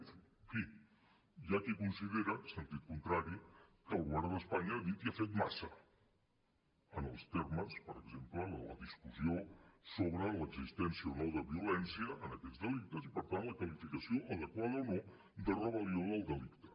en fi hi ha qui considera sentit contrari que el govern d’espanya ha dit i ha fet massa en els termes per exemple de la discussió sobre l’existència o no de violència en aquests delictes i per tant la qualificació adequada o no de rebel·lió del delicte